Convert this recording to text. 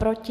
Proti?